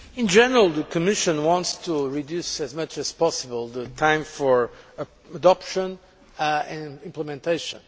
In general, the Commission wants to reduce as much as possible the time for adoption and implementation.